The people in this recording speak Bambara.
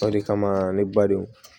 O de kama ne ba don